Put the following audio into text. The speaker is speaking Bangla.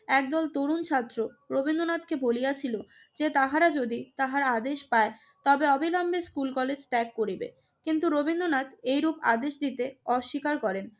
একদল তরুণ ছাত্র রবীন্দ্রনাথকে বলিয়াছিল যে, তাহারা যদি তাহার আদেশ পায় তবে অবিলম্বে স্কুল-কলেজ ত্যাগ করিবে। কিন্তু রবীন্দ্রনাথ এইরূপ আদেশ দিতে অস্বীকার করেন।